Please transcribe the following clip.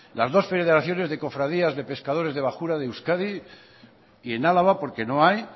las dos federaciones de cofradías de pescadores de bajura de euskadi y en álava porque no hay